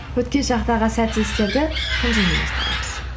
өткен шақтағы сәтсіз істерді қынжылмен еске аламыз